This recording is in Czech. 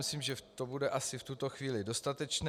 Myslím, že to bude asi v tuto chvíli dostatečné.